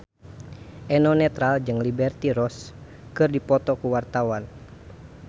Eno Netral jeung Liberty Ross keur dipoto ku wartawan